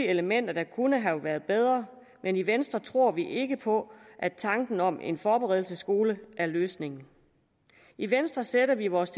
elementer der kunne have været bedre men i venstre tror vi ikke på at tanken om en forberedelsesskole er løsningen i venstre sætter vi vores